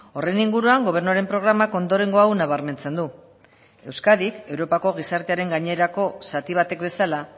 horren inguruan gobernuaren programak ondorengo hau nabarmentzen du euskadik europako gizartearen gainerako zati batek bezala